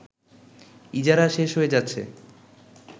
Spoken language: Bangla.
ইজারা শেষ হয়ে যাচ্ছে